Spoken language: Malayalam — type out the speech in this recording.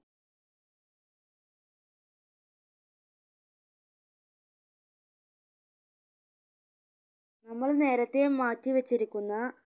നമ്മള് നേരെത്തെ മാറ്റി വെച്ചിരിക്കുന്ന